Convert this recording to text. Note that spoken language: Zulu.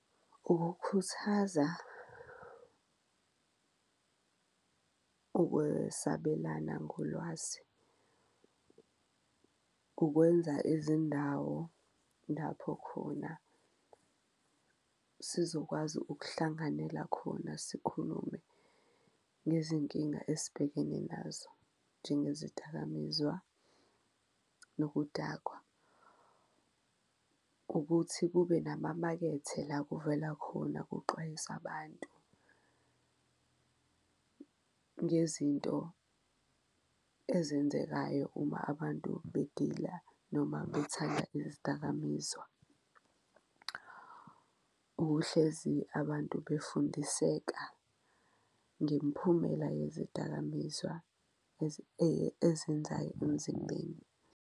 Ukukhuthaza ukwesabelana ngolwazi, ukwenza izindawo lapho khona sizokwazi ukuhlanganela khona sikhulume ngezinkinga esibhekene nazo, njengezidakamizwa nokudakwa, ukuthi kube nama emakethe la kuvela khona kuxwayisa abantu ngezinto ezenzekayo uma abantu bedila noma bethanda izidakamizwa. Ukuhlezi abantu befundiseka ngemphumela yezidakamizwa ezenzayo emzimbeni.